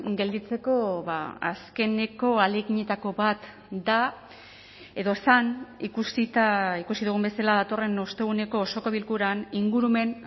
gelditzeko azkeneko ahaleginetako bat da edo zen ikusita ikusi dugun bezala datorren osteguneko osoko bilkuran ingurumen